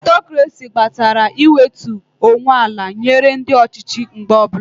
Ọtokrasi gbatara iwetu onwe ala nyere ndị ọchịchị mgbe ọbụla